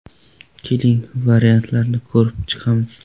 Keling, variantlarni ko‘rib chiqamiz.